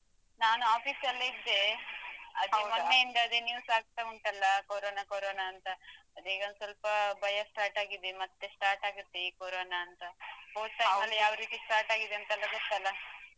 ನಾನು office ಲ್ಲಿ ಇದ್ದೆ. ಅದೇ ಮೊನ್ನೆಯಿಂದ ಅದೇ news ಆಗ್ತ ಉಂಟಲ್ಲಾ Corona Corona ಅಂತ ಅದೇ ಈಗ ಸ್ವಲ್ಪ ಭಯ start ಆಗಿದೆ ಮತ್ತೆ start ಆಗತ್ತೆ ಈ Corona ಅಂತ ಹೋದ್ time ಅಲ್ಲಿ ಯಾವ ರೀತಿಯಲ್ಲಿ start ಆಗಿದೇ ಅಂತ ಗೊತ್ತಲ್ಲಾ.